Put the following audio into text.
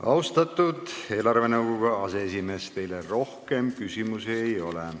Austatud eelarvenõukogu aseesimees, teile rohkem küsimusi ei ole.